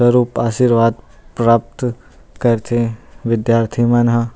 और आशीर्वाद प्राप्त कर थे विद्यार्थी मन ह--